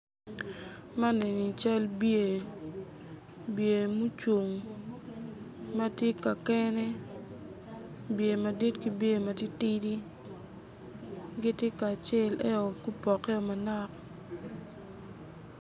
Man eni-ni cal bye bye mucung matye ka kene bye madit ki bye matitidi giti kacel eo gupokkeo manok